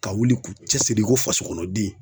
Ka wuli k'u cɛsiri i ko faso kɔnɔ den